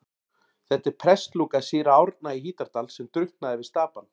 Þetta er prestslúka síra Árna í Hítardal sem drukknaði við Stapann.